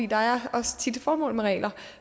der er også tit et formål med regler